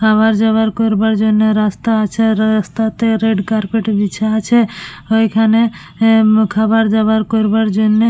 আবার যাবার করবার জন্য রাস্তা আছে রাস্তাতে রেড কার্পেট বিছা আছে ঐখানে এ- এ আবার যাবার করবার জন্যে।